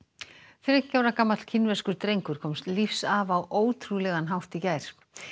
þriggja ára gamall kínverskur drengur komst lífs af á ótrúlegan hátt í gær